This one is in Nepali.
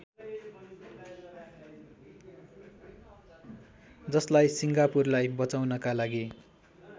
जसलाई सिङ्गापुरलाई बचाउनका लागि